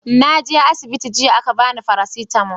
naje asibiti jiya a ka bani farasitamo